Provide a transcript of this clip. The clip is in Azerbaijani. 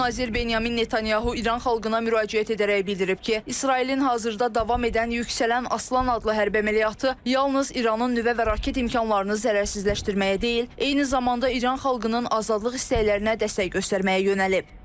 Baş nazir Benyamin Netanyahu İran xalqına müraciət edərək bildirib ki, İsrailin hazırda davam edən Yüksələn Aslan adlı hərbi əməliyyatı yalnız İranın nüvə və raket imkanlarını zərərsizləşdirməyə deyil, eyni zamanda İran xalqının azadlıq istəklərinə dəstək göstərməyə yönəlib.